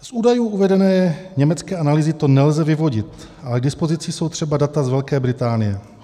Z údajů uvedené německé analýzy to nelze vyvodit, ale k dispozici jsou třeba data z Velké Británie.